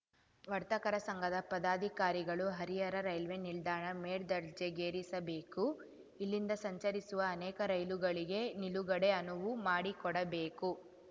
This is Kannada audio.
ವರ್ತಕರ ಸಂಘದ ಪದಾಧಿಕಾರಿಗಳು ಹರಿಹರ ರೈಲ್ವೆ ನಿಲ್ದಾಣ ಮೇಲ್ದರ್ಜೆಗೇರಿಸಬೇಕು ಇಲ್ಲಿಂದ ಸಂಚರಿಸುವ ಅನೇಕ ರೈಲುಗಳಿಗೆ ನಿಲುಗಡೆಗೆ ಅನುವು ಮಾಡಿಕೊಡಬೇಕು